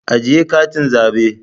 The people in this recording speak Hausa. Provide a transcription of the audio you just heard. Ajiye katin zabe